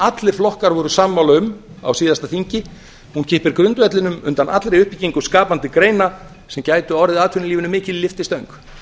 allir flokkar voru sammála um á síðasta þingi hún kippir grundvellinum undan allri uppbyggingu skapandi greina sem gætu orðið atvinnulífinu mikil lyftistöng